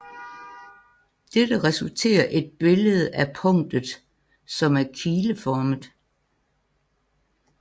Dette resulterer et billede af punktet som er kileformet